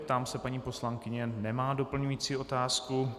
Ptám se paní poslankyně - nemá doplňující otázku.